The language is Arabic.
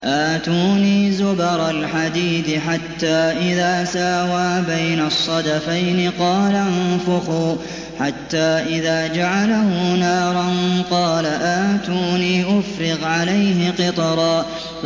آتُونِي زُبَرَ الْحَدِيدِ ۖ حَتَّىٰ إِذَا سَاوَىٰ بَيْنَ الصَّدَفَيْنِ قَالَ انفُخُوا ۖ حَتَّىٰ إِذَا جَعَلَهُ نَارًا قَالَ آتُونِي أُفْرِغْ عَلَيْهِ قِطْرًا